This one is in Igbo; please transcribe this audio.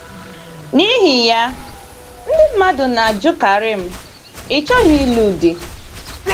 N’ihi ya, ndị mmadụ na - ajụkarị m: “ Ị́ chọghị ịlụ di?